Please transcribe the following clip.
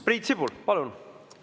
Priit Sibul, palun!